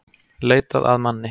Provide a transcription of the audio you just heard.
Leitað að manni